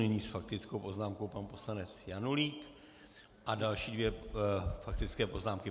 Nyní s faktickou poznámkou pan poslanec Janulík a další dvě faktické poznámky.